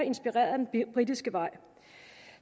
inspireret af den britiske vej